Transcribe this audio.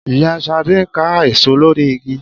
Ìyá Ṣadé ń ká èso lórí igi